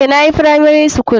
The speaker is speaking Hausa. Eh nayi firamari skul.